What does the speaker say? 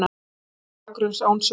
Fólk án bakgrunns, án sögu.